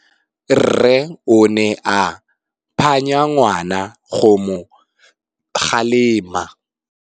Rre o ne a phanya ngwana go mo galemela.